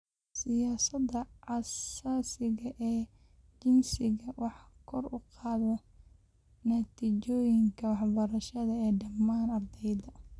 Siyaasadaha xasaasiga ah ee jinsiga waxay kor u qaadaan natiijooyinka waxbarasho ee dhammaan ardayda.